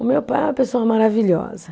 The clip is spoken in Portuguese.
O meu pai é uma pessoa maravilhosa.